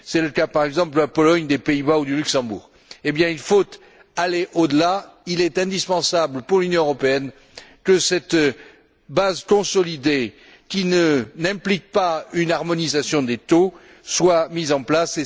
C'est le cas, par exemple, de la Pologne, des Pays Bas ou du Luxembourg. Il faut passer outre. Il est indispensable pour l'Union européenne que cette base consolidée, qui n'implique pas une harmonisation des taux, soit mise en place.